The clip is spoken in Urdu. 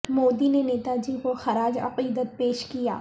مودی نے نیتا جی کو خراج عقیدت پیش کیا